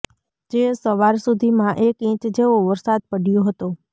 જે સવાર સુધીમાં એક ઈચ જેવો વરસાદ પડયો હતો